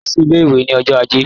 Lọ sí ilé-ìwé ní ọjọ́ ajé!